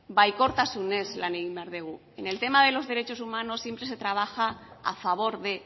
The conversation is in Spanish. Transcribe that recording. baikortasunez lan egin behar dugu en el tema de los derechos humanos siempre se trabaja a favor de